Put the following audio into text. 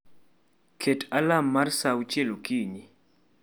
Ket alarm mar saa auchiel okinyi